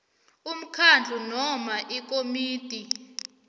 umkhandlu noma ikomiti